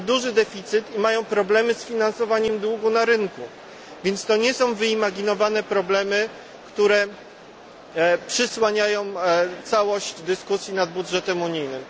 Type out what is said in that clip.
Mają duży deficyt i mają problemy z finansowaniem długu na rynku, więc to nie są wyimaginowane problemy, które przysłaniają całość dyskusji nad budżetem unijnym.